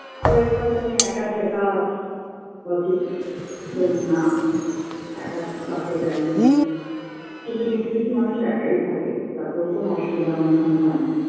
আবার এটাও জানি একা থেকা possible না একা বাঁচা যায়না কিন্তু কিছু কিছু মানুষ একাই থাকে তাতেও কোনো অসুবিধা মনে হয় হয়না